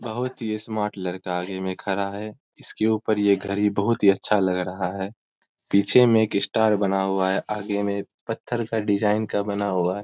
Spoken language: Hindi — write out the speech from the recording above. बहुत ही स्मार्ट लड़का आगे में खड़ा है इसके ऊपर ये घड़ी बहुत अच्छा लग रहा है पीछे में एक स्टार बना हुआ है आगे में पत्थर का डिज़ाइन का बना हुआ है।